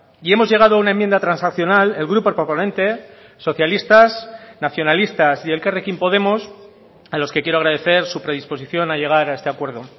y hemos llegado a una enmienda transaccional el grupo proponente socialistas nacionalistas y elkarrekin podemos a los que quiero agradecer su predisposición a llegar a este acuerdo